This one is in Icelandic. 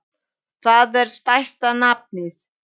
Það er stærsta nafnið.